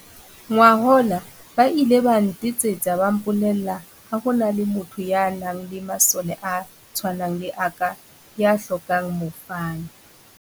"Ngwahola, ba ile ba nte tsetsa ba mpolella ha ho na le motho ya nang le masole a tshwanang le a ka ya hlokang mofani."